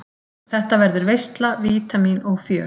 Þetta verður veisla, vítamín og fjör.